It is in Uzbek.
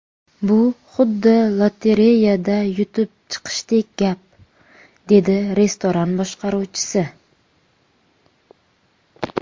Bu xuddi lotereyada yutib chiqishdek gap”, dedi restoran boshqaruvchisi.